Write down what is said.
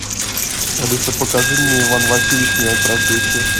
алиса покажи мне иван васильевич меняет профессию